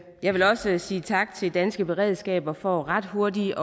jeg vil også sige tak til danske beredskaber for ret hurtigt